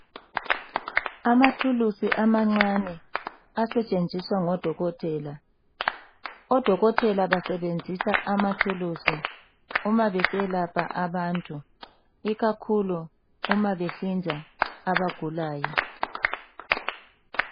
Amathulusi amancane asetshenziswa ngodokotela odokotela basebenzisa amathulusi uma beseyelapha abantu ikakhulu uma behlinza abagulayo.